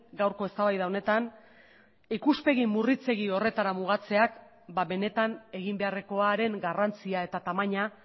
gaurko eztabaida honetan ikuspegi murritzegi horretara mugatzeak benetan egin beharrekoaren garrantzia eta tamaina